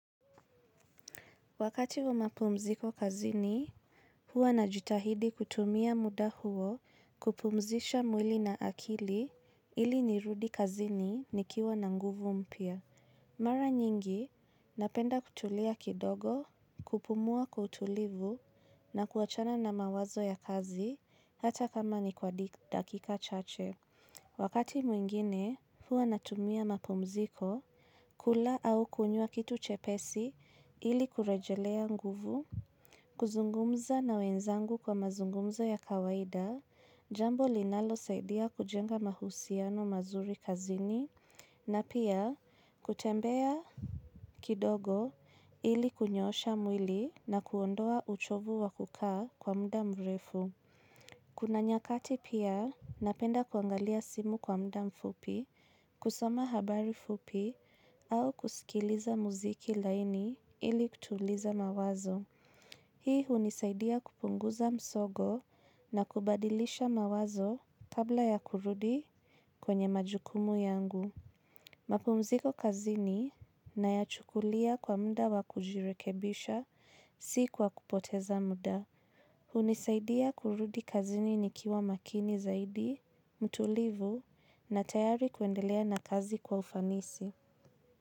Wakati wa mapumziko kazini, huwa na jitahidi kutumia muda huo kupumzisha mwili na akili ili nirudi kazini nikiwa na nguvu mpya. Mara nyingi, napenda kutulia kidogo, kupumua kwa utulivu na kuachana na mawazo ya kazi hata kama ni kwa dakika chache. Wakati mwingine, huwa natumia mapumziko, kula au kunywa kitu chepesi ili kurejelea nguvu, kuzungumza na wenzangu kwa mazungumzo ya kawaida, jambo linalo saidia kujenga mahusiano mazuri kazini, na pia kutembea kidogo ili kunyoosha mwili na kuondoa uchovu wakukaa kwa muda mrefu. Kuna nyakati pia napenda kuangalia simu kwa mda mfupi, kusoma habari fupi au kusikiliza muziki laini ili kutuliza mawazo. Hii hunisaidia kupunguza msogo na kubadilisha mawazo kabla ya kurudi kwenye majukumu yangu. Mapumziko kazini na ya chukulia kwa mda wakujirekebisha si kwa kupoteza muda. Hunisaidia kurudi kazini nikiwa makini zaidi, mtulivu na tayari kuendelea na kazi kwa ufanisi.